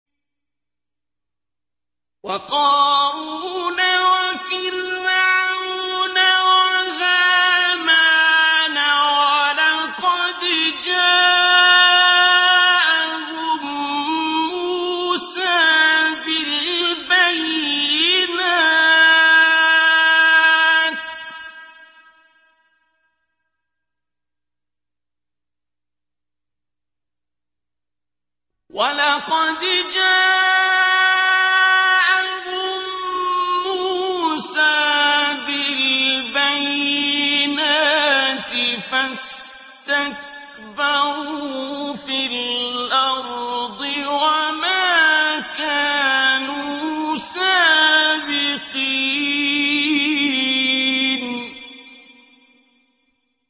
وَقَارُونَ وَفِرْعَوْنَ وَهَامَانَ ۖ وَلَقَدْ جَاءَهُم مُّوسَىٰ بِالْبَيِّنَاتِ فَاسْتَكْبَرُوا فِي الْأَرْضِ وَمَا كَانُوا سَابِقِينَ